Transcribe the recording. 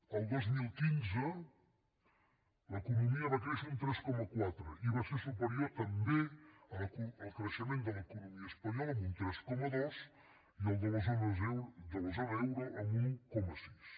el dos mil quinze l’economia va créixer un tres coma quatre i va ser superior també al creixement de l’economia espanyola amb un tres coma dos i al de la zona euro amb un un coma sis